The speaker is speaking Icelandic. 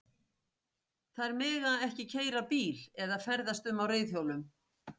Þær mega ekki keyra bíla eða ferðast um á reiðhjólum.